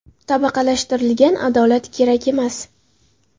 Tabaqalashtirilgan adolat kerak emas.